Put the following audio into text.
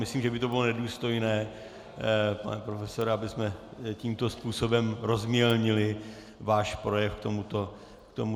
Myslím, že by to bylo nedůstojné, pane profesore, abychom tímto způsobem rozmělnili váš projev k tomuto tisku.